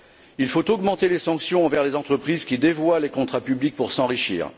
Il faut augmenter les sanctions envers les entreprises qui dévoient les contrats publics pour s'enrichir.